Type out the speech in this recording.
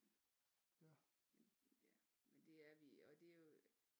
Ja men det er vi og det er jo